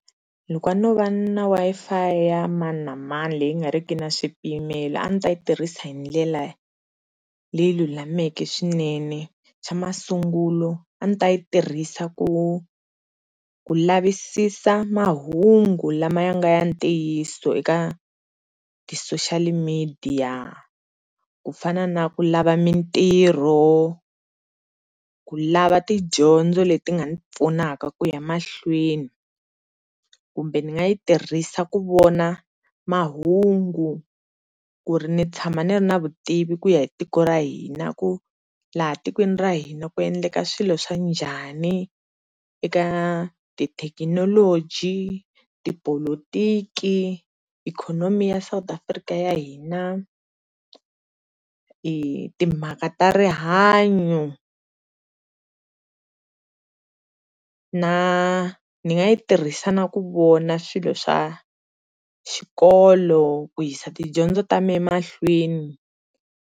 Loko a no va na Wi-Fi ya maninamani leyi nga ri ki na swipimelo a ni ta yi tirhisa hi ndlela leyi lulameke swinene xa masungulo a ni ta yi tirhisa ku lavisisa mahungu lama nga ya ntiyiso eka eka ti-social media ku fana naku lava mintirho ku ku lava tidyondzo le ti nga ni pfunaka ku ya mahlweni kumbe ni nga yi tirhisa ku vona mahungu ku ri ni tshama ni ri na vutivi kuya hi tiko ra hina ku laha tikweni ra hina ku endleka swilo swa njhani eka tithekinoloji, tipolotiki ikhonomi ya South Africa ya hina, timhaka ta rihanyo na nga yi tirhisa na ku vona swilo swa xikolo ku yissa tidyondzo ta mina emahlweni.